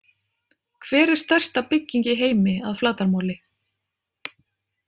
Hver er stærsta bygging í heimi að flatarmáli?